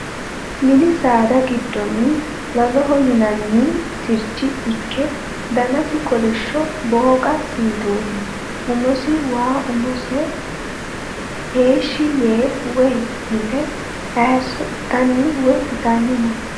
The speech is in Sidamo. Mini saada giddonni laloho yinanninni sircho ikke, danasi kolishsho booqa siitooti. Umosi woy umose heeshshi yee woy yite haayisso itanni woy itanni no.